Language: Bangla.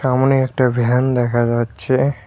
সামোনে একটা ভ্যান দেখা যাচ্ছে।